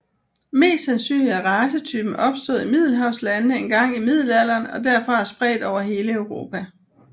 Mest sandsynligt er racetypen opstået i Middelhavslandene engang i middelalderen og derfra spredt over hele Europa